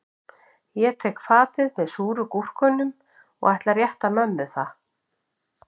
Ég tek fatið með súru gúrkunum og ætla að rétta mömmu það